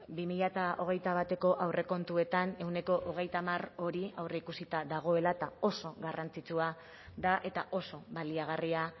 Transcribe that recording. bi mila hogeita bateko aurrekontuetan ehuneko hogeita hamar hori aurreikusita dagoela eta oso garrantzitsua da eta oso baliagarria